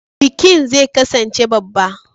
Bikin zai kasance babba.